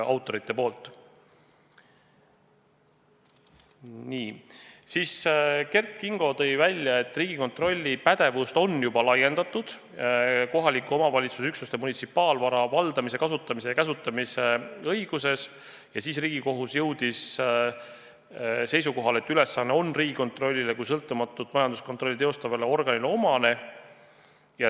Kert Kingo tõi välja, et Riigikontrolli pädevust on juba laiendatud kohaliku omavalitsuse üksuste munitsipaalvara valdamise, kasutamise ja käsutamise õigsuse kontrollimisele ja Riigikohus jõudis seisukohale, et see ülesanne on Riigikontrollile kui sõltumatut majanduskontrolli teostavale organile omane.